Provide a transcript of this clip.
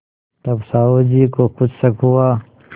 तब साहु जी को कुछ शक हुआ